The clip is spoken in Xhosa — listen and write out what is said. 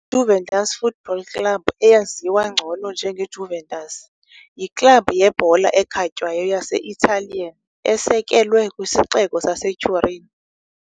IJuventus Football Club eyaziwa ngcono njengeJuventus, yiklabhu yebhola ekhatywayo yase-Italian esekelwe kwisixeko saseTurin.